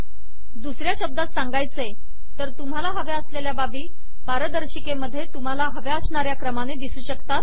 दुसऱ्या शब्दात सांगायचे तर तुम्हाला हव्या असलेल्या बाबी पारदर्शिकेमध्ये तुम्हाला हव्या असणाऱ्या क्रमाने दिसू शकतात